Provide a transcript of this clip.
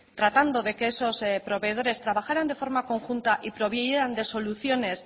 tratando de que esos proveedores trabajaran de forma conjunta y previeran de soluciones